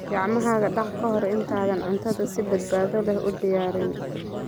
Gacmaha dhaq ka hor intaadan cuntada si badbaado leh u diyaarin.